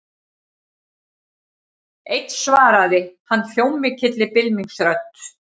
Einn svaraði hann hljómmikilli bylmingsrödd.